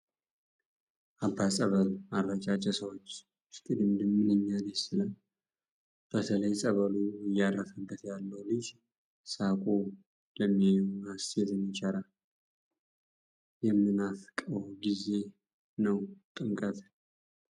የአባ ፀበል አረጫጭ የሰዎቹ እሽቅድድም ምንኛ ደስ ይላል ፤ በተለይ ፀበሉ እያረፈበት ያለው ልጅ ሳቁ ለሚያየው ሐሴትን ይቸራል ፤ የምናፍቀው ጊዜ ነው ጥምቀትን